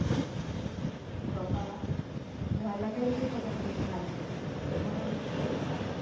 বাবা ভয় লাগায় দিতেছো কেন তুমি ভাই? মনে হইতিছে কা,